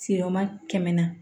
Siroma kɛmɛ na